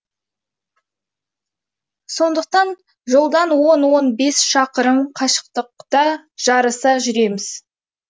сондықтан жолдан он он бес шақырым қашықтықта жарыса жүреміз